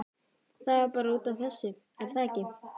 Það var bara út af þessu, er það ekki?